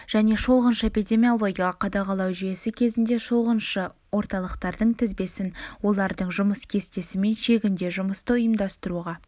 және шолғыншы эпидемиологиялық қадағалау жүйесі кезінде шолғыншы орталықтардың тізбесін олардың жұмыс кестесі мен шегінде жұмысты ұйымдастыруға